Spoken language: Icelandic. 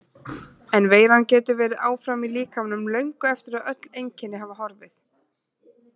En veiran getur verið áfram í líkamanum löngu eftir að öll einkenni hafa horfið.